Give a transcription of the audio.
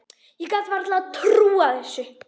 Ég gat varla trúað þessu.